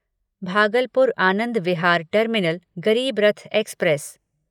Bhagalpur Anand Vihar terminal Garib Rath express